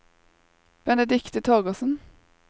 Benedicte Torgersen